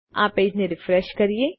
તો ચાલો આ પેજ ને રીફ્રેશ કરીએ